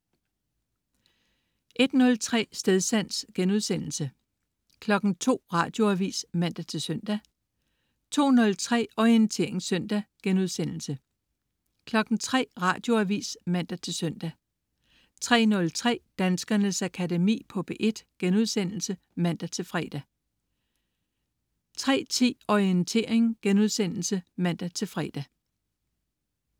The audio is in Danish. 01.03 Stedsans* 02.00 Radioavis (man-søn) 02.03 Orientering Søndag* 03.00 Radioavis (man-søn) 03.03 Danskernes Akademi på P1* (man-fre) 03.10 Orientering* (man-fre)